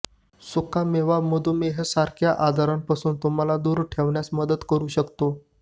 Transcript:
सुका मेवा मधुमेहासारख्या आजारांपासून तुम्हाला दूर ठेवण्यास मदत करू शकतो